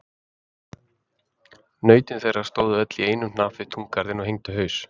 Nautin þeirra stóðu öll í einum hnapp við túngarðinn og hengdu haus.